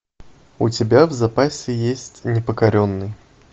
у тебя в запасе есть непокоренный